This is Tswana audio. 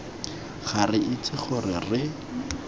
ga re itse gore re